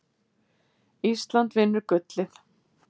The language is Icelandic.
Ísland vinnur gullið